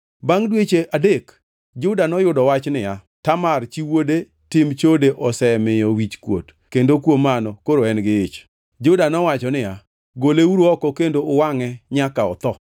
Bangʼ dweche adek Juda noyudo wach niya, “Tamar chi wuode tim chode osemiyo wichkuot kendo kuom mano koro en gi ich.” Juda nowacho niya, “Goleuru oko kendo uwangʼe nyaka otho!”